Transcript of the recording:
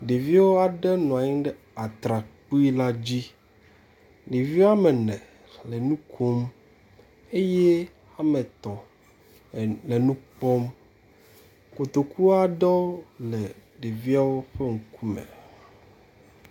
Ɖeviwo aɖe nɔ anyi ɖe atrakpui la dzi, ɖeviwo wome ene le enu kom eye wome etɔ̃ le nukpɔm, kotokowo aɖewo le ɖeviwo ƒe ŋku me